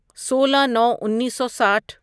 سولہ نو انیسو ساٹھ